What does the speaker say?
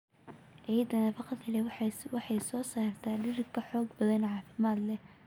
Ciidda nafaqada leh waxay soo saartaa dhir ka xoog badan, caafimaad leh.